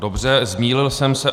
Dobře, zmýlil jsem se.